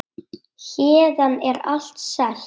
Héðan er allt selt.